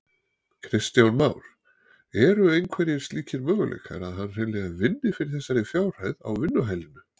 Kristján Már: Eru einhverjir slíkir möguleikar að hann hreinlega vinni fyrir þessari fjárhæð á vinnuhælinu?